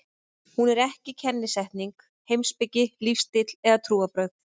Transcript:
Hún er ekki kennisetning, heimspeki, lífstíll eða trúarbrögð.